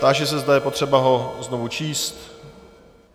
Táži se, zda je potřeba ho znovu číst.